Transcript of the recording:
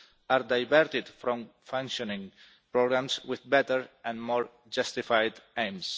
are diverted from functioning programmes with better and more justified aims.